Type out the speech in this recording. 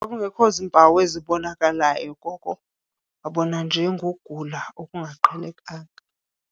Kwakungekho zimpawu ezibonakalayo, koko wabona nje ngokugula okungaqhelekanga.